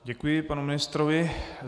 Děkuji panu ministrovi.